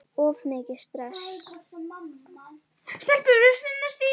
Of mikið stress?